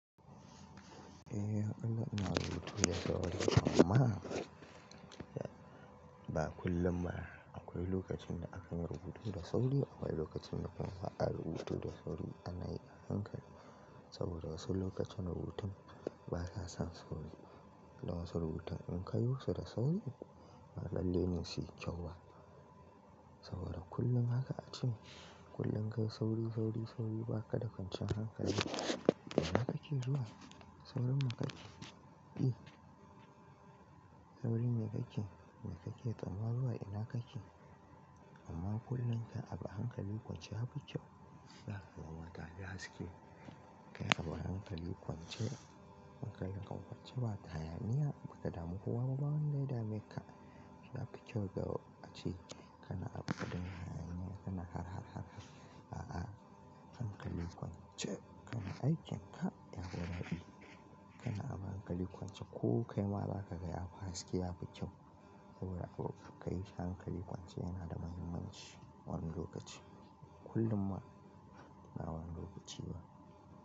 Eh Allah ina rubutu da sauri amma ba kullum ba. Akwai lokacin da akan yi rubutu da sauri akwai lokacin da kuma ba a rubutu da sauri ana yi a hankali saboda wasu lokutan rubutun basa san sauri. Na wasu rubutun in ka yi wasu da sauri, ba lallai ne su yi kyau ba. Saboda kullum haka ace. Kullum kai sauri, sauri, sauri ba ka da kwanciyar hankali. Ina kake zuwa? Saurin makaɗi. Saurin me kake, me kake tsammani zuwa ina kake? Amma kullum kabi hankali kwance ya fi kyau. Zaka ga mata gaskiya. Kai abu hankali kwance maka yanka kwance ba wata hayaniya, ba ka damu kowa ba, ba wanda ya dame ka. Ya fi kyau ga a ci. Kana abu kaɗan yana yana har har har har. A'a, hankali kwance kana aikin ka ya fi daɗi. Kana abu hankali kwance ko kai ma za ka ga yafi haske ya fi kyau. Saboda ko ka yi hankali kwance yana da mahimmanci wani lokaci. Kullum ma na wani lokaci ma.